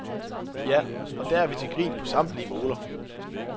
Ja, og der er vi til grin på samtlige moler.